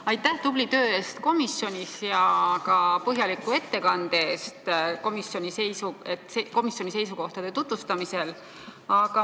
Aitäh tubli töö eest komisjonis ja ka põhjaliku ettekande eest komisjoni seisukohtade tutvustamisel!